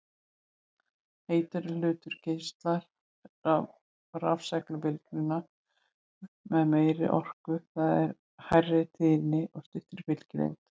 Heitari hlutur geislar rafsegulbylgjum með meiri orku, það er hærri tíðni og styttri bylgjulengd.